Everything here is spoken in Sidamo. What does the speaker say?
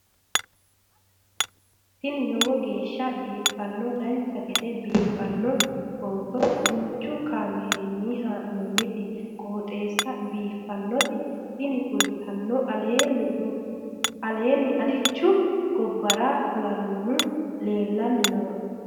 tini lowo geeshsha biiffannoti dancha gede biiffanno footo danchu kaameerinni haa'noonniti qooxeessa biiffannoti tini kultannori leemmu alichu gobbara fulannohu leellanni nooe